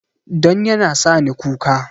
Don yana sa ni kuka